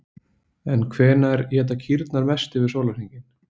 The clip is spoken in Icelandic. En hvenær éta kýrnar mest yfir sólarhringinn?